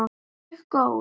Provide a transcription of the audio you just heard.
Mjög góð.